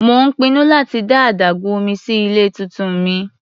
Mò ń pinnu láti dá adágún omí sí ilé tuntun mi.